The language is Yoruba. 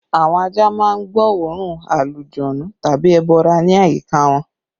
Àwọn ajá má ń gbọ́ oòrùn alujọ̀nnú tàbí ẹbọra ní àyíká wọn